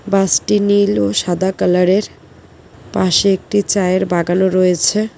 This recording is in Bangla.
বাস -টি নীল ও সাদা কালার -এর পাশে একটি চায়ের বাগানও রয়েছে।